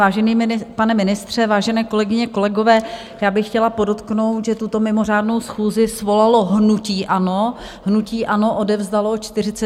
Vážený pane ministře, vážené kolegyně, kolegové, já bych chtěla podotknout, že tuto mimořádnou schůzi svolalo hnutí ANO, hnutí ANO odevzdalo 41 podpisů.